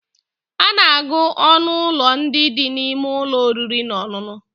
A na-agụ ọnụ ụlọ ndị dị n'ime ụlọ oriri na ọṅụṅụ